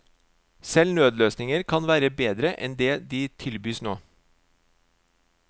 Selv nødløsninger kan være bedre enn det de bys nå.